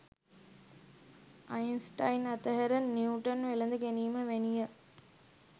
Einstein අතහැර Newton වැලඳ ගැනීම වැනිය.